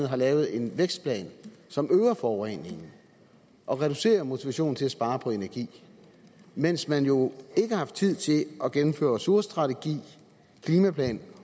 har lavet en vækstplan som øger forureningen og reducerer motivationen til at spare på energi mens man jo ikke har haft tid til at gennemføre en ressourcestrategi en klimaplan